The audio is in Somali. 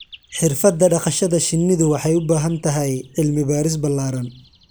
Xirfadda dhaqashada shinnidu waxay u baahan tahay cilmi baaris ballaaran.